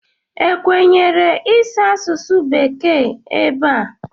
Ekwenyere ịsụ asụsụ bekee ebe a?